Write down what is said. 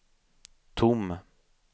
tom